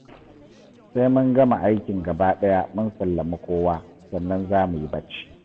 Sai mun gama aikin gabaɗaya mun sallami kowa, sannan za mu yi bacci